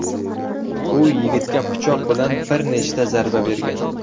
U yigitga pichoq bilan bir nechta zarba bergan.